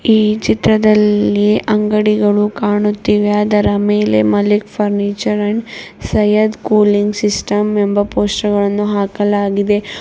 ಈ ಚಿತ್ರದಲ್ಲಿ ಅಂಗಡಿಗಳು ಕಾಣುತ್ತಿವೆ ಅದರ ಮೇಲೆ Malik furniture and Syed cooling system ಎಂಬ ಪೋಸ್ಟ್ಗಳನ್ನು ಹಾಕಲಾಗಿದೆ.